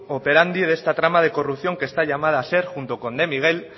operandi de esta trama de corrupción que está llamada a ser junto con de miguel